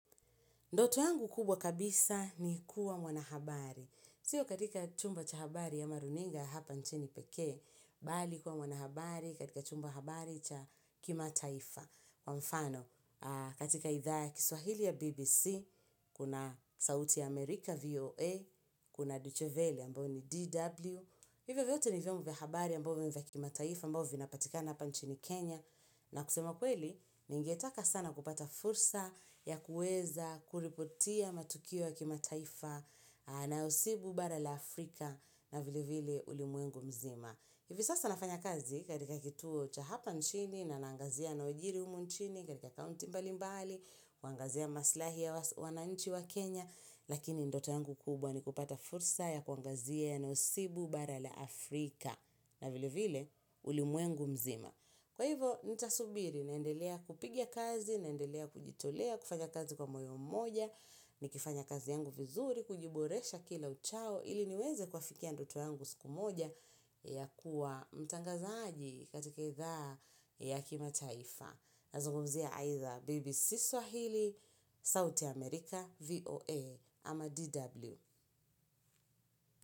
Ndoto yangu kubwa kabisa ni kuwa mwanahabari. Siyo katika chumba cha habari ama runinga hapa nchini pekee, bali kuwa mwanahabari katika chumba habari cha kimataifa. Kwa mfano, katika idhaa ya kiswahili ya BBC, kuna sauti ya Amerika VOA, kuna Duchoveli ambayo ni DW, hivyo vyote ni vyombo vya habari ambavyo ni vya kimataifa ambao vinapatikana hapa nchini Kenya. Na kusema kweli, ningetaka sana kupata fursa ya kuweza kuripotia matukio ya kimataifa na usibu bara la Afrika na vile vile ulimwengu mzima. Hivi sasa nafanya kazi katika kituo cha hapa nchini na naangazia yanayojiri humu nchini, katika kaunti mbalimbali, kuangazia maslahi ya wananchi wa Kenya, lakini ndoto yangu kubwa ni kupata fursa ya kuangazia na usibu bara la Afrika na vile vile ulimwengu mzima. Kwa hivyo, nitasubiri, naendelea kupiga kazi, nendelea kujitolea, kufanya kazi kwa moyo mmoja, nikifanya kazi yangu vizuri, kujiboresha kila uchao, ili niweze kwafikia ndoto yangu siku moja ya kuwa mtangazaji katika idhaa ya kimataifa. Nazungumzia aidha BBC Swahili, South America, VOA ama DW.